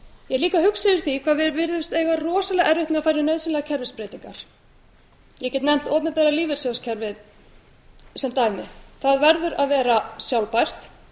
ég er líka hugsi yfir því hvað við virðumst eiga rosalega erfitt með að fara í nauðsynlegar kerfisbreytingar ég get nefnt opinbera lífeyrissjóðakerfið sem dæmi það verður að vera að sjálfbært